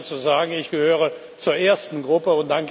Ich erlaube mir zu sagen, ich gehöre zur ersten Gruppe.